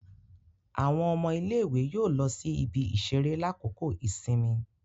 Awọn ọmọ ilé-ìwé yóò lọ sí ibi-iṣere lakoko ìsinmi